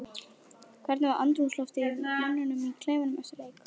Hvernig var andrúmsloftið í mönnum í klefanum eftir leik?